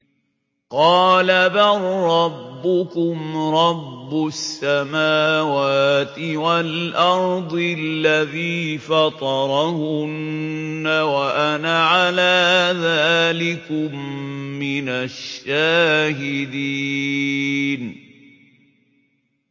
قَالَ بَل رَّبُّكُمْ رَبُّ السَّمَاوَاتِ وَالْأَرْضِ الَّذِي فَطَرَهُنَّ وَأَنَا عَلَىٰ ذَٰلِكُم مِّنَ الشَّاهِدِينَ